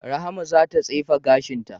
Rahma za ta tsefe gashin ta.